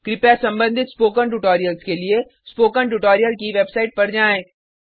कृपया संबंधित spoken tutorials के लिए स्पोकन ट्यूटोरियल की वेबसाइट पर जाएँ